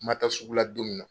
Ma taa sugu la don min na